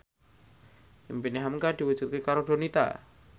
impine hamka diwujudke karo Donita